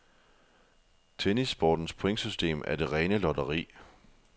Tennissportens pointsystem er det rene lotteri.